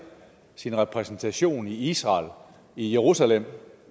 sin repræsentation i israel i jerusalem